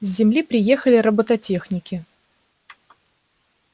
с земли приехали робототехники